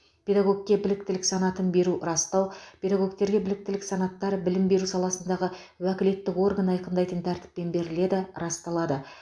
педагогке біліктілік санатын беру растау педагогтерге біліктілік санаттар білім беру саласындағы уәкілетті орган айқындайтын тәртіппен беріледі расталады